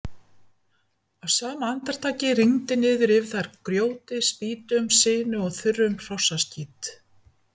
Á sama andartaki rigndi niður yfir þær grjóti, spýtum, sinu og þurrum hrossaskít.